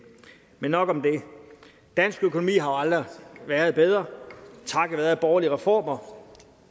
men nok om det dansk økonomi har aldrig været bedre takket være borgerlige reformer